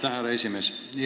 Aitäh, härra esimees!